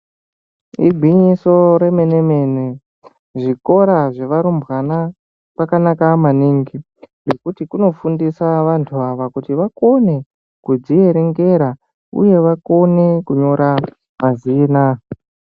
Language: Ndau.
Igwinyiso remene-mene, zvikora zvevarumbwana kwakanaka maningi ngekuti kunifundisa vantu ava kuti vakone kuzvierengera uye vakone kunyora mazina.